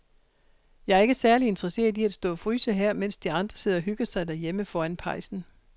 Jeg er ikke særlig interesseret i at stå og fryse her, mens de andre sidder og hygger sig derhjemme foran pejsen.